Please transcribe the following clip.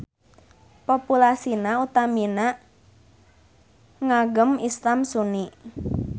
Populasina utamina ngagem Islam Sunni.